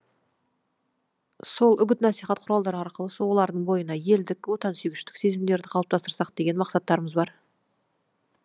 сол үгіт насихат құралдары арқылы олардың бойына елдік отансүйгіштік сезімдерді қалыптастырсақ деген мақсаттарымыз бар